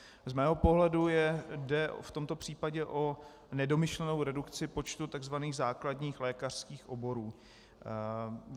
Z mého pohledu jde v tomto případě o nedomyšlenou redukci počtu tzv. základních lékařských oborů.